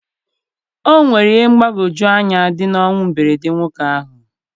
O nwere ihe mgbagwoju anya dị na ọnwụ mberede nwoke ahụ